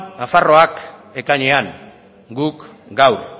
nafarroak ekainean guk gaur